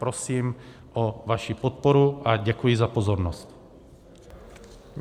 Prosím o vaši podporu a děkuji za pozornost.